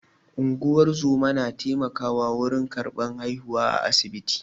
Unguwar zoma na taimakawa wurin karɓar haihuwa a asibiti.